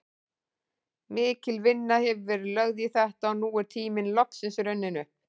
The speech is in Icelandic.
Mikil vinna hefur verið lögð í þetta og nú er tíminn loksins runninn upp.